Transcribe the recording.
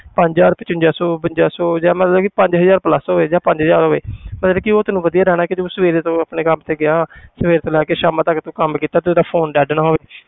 ਪੰਜ ਹਜ਼ਾਰ ਪਚਵੰਜਾ ਸੌ ਬਵੰਜਾ ਸੌ ਜਾਂ ਮਤਲਬ ਕਿ ਪੰਜ ਹਜ਼ਾਰ plus ਹੋਵੇ ਜਾਂ ਪੰਜ ਹਜ਼ਾਰ ਹੋਵੇ ਮਤਲਬ ਕਿ ਉਹ ਤੈਨੂੰ ਵਧੀਆ ਰਹਿਣਾ ਕਿ ਤੂੰ ਸਵੇਰੇ ਤੋਂ ਆਪਣੇ ਕੰਮ ਤੇ ਗਿਆ ਸਵੇਰੇ ਤੋਂ ਲੈ ਕੇ ਸ਼ਾਮਾਂ ਤੱਕ ਤੂੰ ਕੰਮ ਕੀਤਾ ਤੇਰਾ phone dead ਨਾ ਹੋਵੇ।